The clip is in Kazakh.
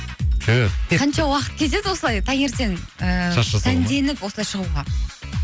түһ қанша уақыт кетеді осылай таңертең ыыы осылай шығуға